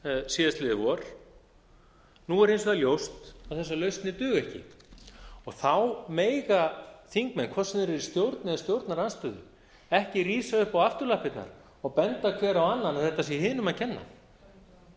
síðastliðið vor nú er hins vegar ljóst að þessar lausnir duga ekki og þá mega þingmenn hvort sem þeir eru í stjórn eða stjórnarandstöðu ekki rísa upp á afturlappirnar og benda hver á annan að þetta sé hinum að kenna